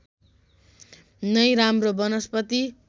नै राम्रो वनस्पति